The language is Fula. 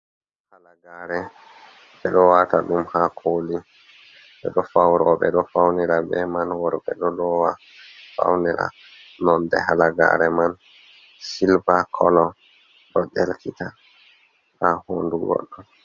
Halagare be ɗo wata ɗum ha koli, be ɗo fauro, be ɗo faunira be'i man. Robe ɗo faunifa beman, worbe wata faunira be man. nnonɗe halagare man silva kolo. Ɗo ɗelkita ha houɗu goɗdo.